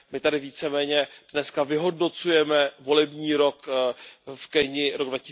My tady víceméně dnes vyhodnocujeme volební rok v Keni, rok